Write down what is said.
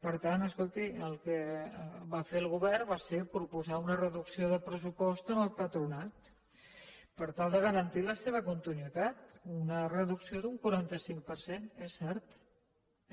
per tant escolti el que va fer el govern va ser proposar una reducció de pressupost al patronat per tal de garantir la seva continuïtat una reducció d’un quaranta cinc per cent és cert